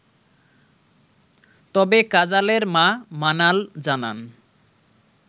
তবে কাজালের মা মানাল জানান